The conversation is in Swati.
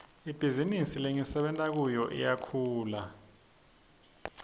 ibhizinisi lengisebenta kiyo iyakhula